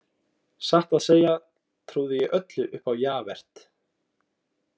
Satt að segja trúði ég öllu upp á Javert.